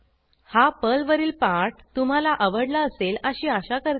हा पर्लवरील पाठ तुम्हाला आवडला असेल अशी आशा करते